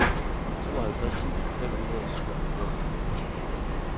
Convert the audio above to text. tooghalvtreds tusind fem hundrede og syvoghalvfems